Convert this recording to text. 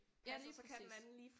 Ja lige præcis